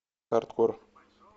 хардкор